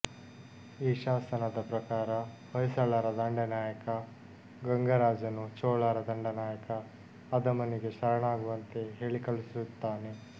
ಈ ಶಾಸನದ ಪ್ರಕಾರ ಹೊಯ್ಸಳರ ದಂಡನಾಯಕ ಗಂಗರಾಜನು ಚೋಳರ ದಂಡನಾಯಕ ಅದಮನಿಗೆ ಶರಣಾಗುವಂತೆ ಹೇಳಿಕಳುಹಿಸುತ್ತಾನೆ